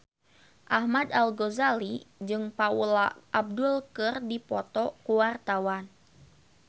Ahmad Al-Ghazali jeung Paula Abdul keur dipoto ku wartawan